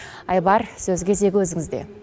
айбар сөз кезегі өзіңізде